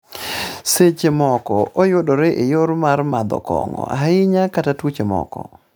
. Seche moko oyudore e yor mar madho kong'o ahinya kata tuoche moko